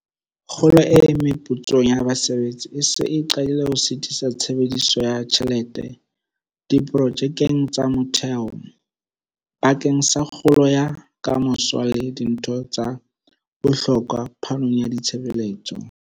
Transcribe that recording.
Kgolo e meputsong ya basebetsi e se e qadile ho sitisa tshebediso ya tjhelete diprojekeng tsa motheo, bakeng sa kgolo ya ka moso le dinthong tsa bohlokwa phanong ya ditshebeletso.